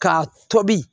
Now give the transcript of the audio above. Ka tobi